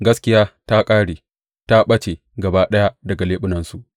Gaskiya ta ƙare; ta ɓace gaba ɗaya daga leɓunansu.